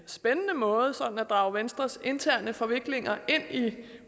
spændende måde sådan at drage venstres interne forviklinger ind i